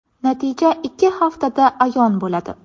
Natija ikki haftada ayon bo‘ladi”.